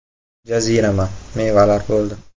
Jazirama, mevalar bo‘ldi.